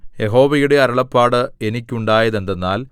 യഹോവയുടെ അരുളപ്പാട് എനിക്കുണ്ടായതെന്തെന്നാൽ